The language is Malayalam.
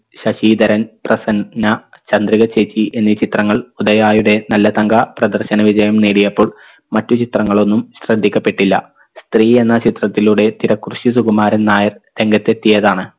ശശീധരൻ പ്രസന്ന ചന്ദ്രിക ചേച്ചി എന്നീ ചിത്രങ്ങൾ ഉദയായുടെ നല്ല തങ്ക പ്രദർശന വിജയം നേടിയപ്പോൾ മറ്റു ചിത്രങ്ങളൊന്നും ശ്രദ്ധിക്കപ്പെട്ടില്ല സ്ത്രീയെന്ന ചിത്രത്തിലൂടെ തിരക്കുറുശ്ശി സുകുമാരൻ നായർ രംഗത്തെത്തിയതാണ്